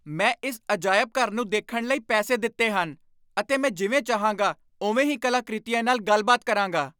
ਮੈਂ ਇਸ ਅਜਾਇਬ ਘਰ ਨੂੰ ਦੇਖਣ ਲਈ ਪੈਸੇ ਦਿੱਤੇ ਹਨ, ਅਤੇ ਮੈਂ ਜਿਵੇਂ ਚਾਹਾਂਗਾ ਉਵੇਂ ਹੀ ਕਲਾਕ੍ਰਿਤੀਆਂ ਨਾਲ ਗੱਲਬਾਤ ਕਰਾਂਗਾ!